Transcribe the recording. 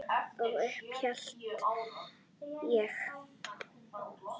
Og upp hélt ég.